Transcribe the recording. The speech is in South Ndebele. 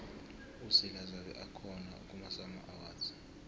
uzila zabe akhona kumasama